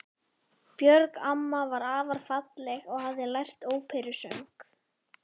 Björg amma var afar falleg og hafði lært óperusöng.